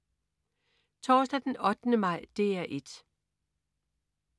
Torsdag den 8. maj - DR 1: